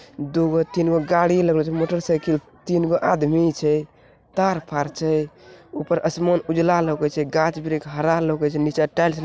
दूगो तीन गो गाड़ी लागलो छे मोटरसाइकिल तीन गो आदमी छे | तार फार छे ऊपर आसमान उजला लोकि छे | गाछ वृक्ष हरा लोकै छै निचे टाइल्स --